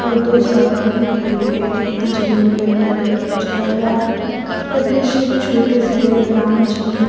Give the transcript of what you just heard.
और दो साइकिल भी खड़ी एक व्यक्ति जमीन पर बैठ कर कुछ कर रहा है ये दृश्य एक छोटे शहर या ग्रामीण क्षेत्र --